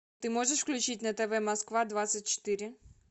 ты можешь включить на тв москва двадцать четыре